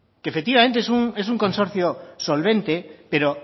que efectivamente es un consorcio solvente pero